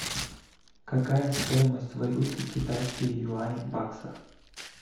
какая стоимость валюты китайские юани в баксах